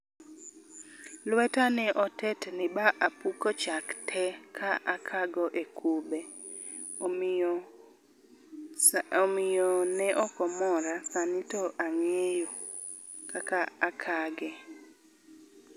Lweta ne otetni ba apuko chak tee ka akago e kube omiyo ne ok omora, sani to angeyo kaka akage